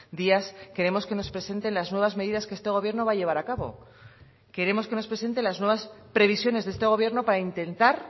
días creemos que nos presente las nuevas medidas que este gobierno va a llevar a cabo queremos que nos presente las nuevas previsiones de este gobierno para intentar